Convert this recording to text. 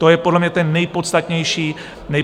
To je podle mě ten nejpodstatnější argument.